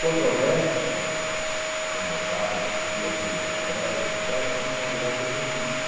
Quanto ao resto, quanto a a conversar, a discutir, a apresentar ideias, et cétera., de um modo geral, sou benquisto.